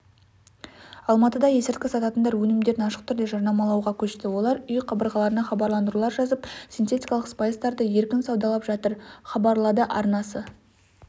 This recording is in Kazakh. алматыда есірткі сататындар өнімдерін ашық түрде жарнамалауға көшті олар үй қабырғаларына хабарландырулар жазып синтетикалық спайстарды еркін саудалап жатыр хабалады арнасы